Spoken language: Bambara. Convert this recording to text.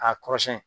A kɔrɔ siyɛn